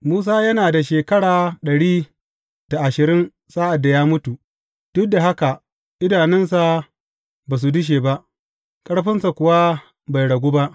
Musa yana da shekara ɗari da ashirin sa’ad da ya mutu, duk da haka idanunsa ba su dushe ba, ƙarfinsa kuwa bai ragu ba.